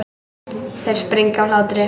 Þeir springa af hlátri.